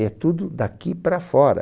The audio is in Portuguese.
É tudo daqui para fora.